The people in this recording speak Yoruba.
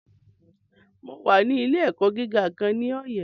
Mo wà ní ilé - ẹ̀kọ́ gíga kan ní Ọyẹ́